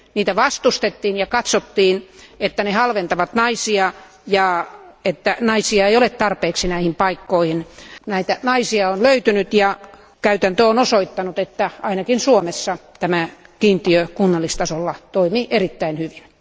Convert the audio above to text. Niitä vastustettiin ja katsottiin, että ne halventavat naisia ja että naisia ei ole tarpeeksi näihin paikkoihin. Näitä naisia on löytynyt, ja käytäntö on osoittanut, että ainakin Suomessa tämä kiintiö kunnallistasolla toimii erittäin hyvin.